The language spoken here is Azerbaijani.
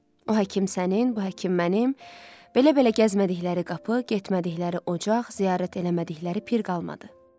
O həkim sənin, bu həkim mənim, belə-belə gəzmədikləri qapı, getmədikləri ocaq, ziyarət eləmədikləri pir qalmadı.